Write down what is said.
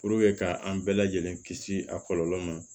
ka an bɛɛ lajɛlen kisi a kɔlɔlɔ ma